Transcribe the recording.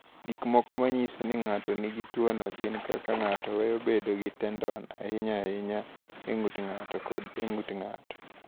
"Gik mamoko ma nyiso ni ng’ato nigi tuwono gin kaka ng’ato weyo bedo gi tendon, ahinya ahinya e ng’ut ng’ato kod e ng’ut ng’ato."